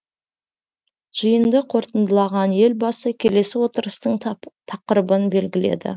жиынды қорытындалаған елбасы келесі отырыстың тақырыбын белгіледі